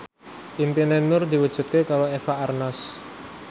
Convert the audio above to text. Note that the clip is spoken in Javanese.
impine Nur diwujudke karo Eva Arnaz